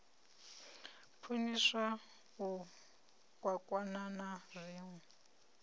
khwiniswa u kwakwana na zwinwe